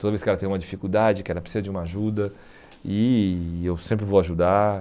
Toda vez que ela tem uma dificuldade, que ela precisa de uma ajuda e eu sempre vou ajudar.